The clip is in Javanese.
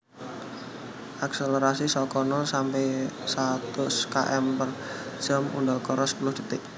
Akselerasi saka nol sampe satus km per jam udakara sepuluh detik